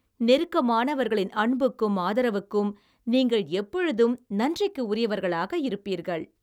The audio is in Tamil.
நெருக்கமானவர்களின் அன்புக்கும் ஆதரவுக்கும், நீங்கள் எப்பொழுதும் நன்றிக்கு உரியவரகளாக இருப்பீர்கள்